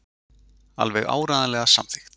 Alveg áreiðanlega samþykkt.